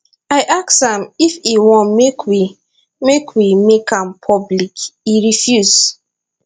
i ask am if e wan make we make we make am public e refuse